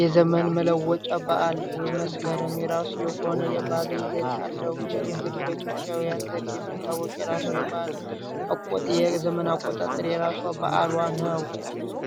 የዘመን መለወጫ በዓል መስከረም የራሱ የሆነ የባለ ይዘት ያለው ይህም እንግዲህ በኢትዮጵያውያን ዘንድ የሚታወቅ የራሱ ባል ዘመን አቆጣጠር የራሷ በዓሏ ነው።